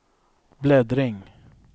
bläddring